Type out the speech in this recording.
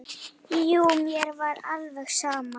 Jú, mér var alveg sama.